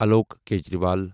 Alok Kejriwal